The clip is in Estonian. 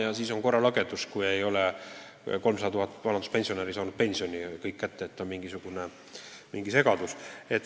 Loomulikult on korralagedus, kui mitte kõik 300 000 vanaduspensionärist ei ole pensioni kätte saanud, on mingi segadus.